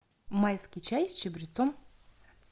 майский чай с чабрецом